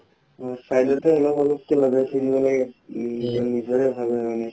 side তে অলপ অলপকে লগাইছিলো নিজৰে ভাল নালাগে